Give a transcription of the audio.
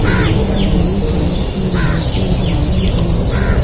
ऊपर हरी कलर की लाइटें लगी हुई है।